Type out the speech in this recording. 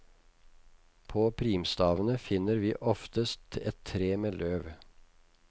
På primstavene finner vi oftest et tre med løv.